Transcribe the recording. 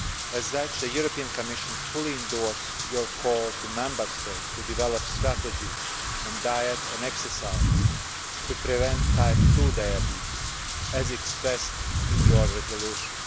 As such, the European Commission fully endorses your call to Member States to develop strategies on diet and exercise to prevent Type 2 diabetes, as expressed in your resolution.